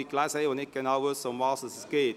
Daher wissen noch nicht alle, worum es hier geht.